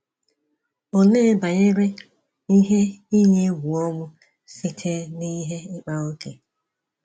Olee banyere ihe iyi egwu ọnwụ site n’ihe ịkpa ókè?